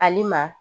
Hali ma